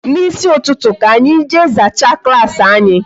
N'isi ụtụtụ ka anyi jee zachaa klaasị anyị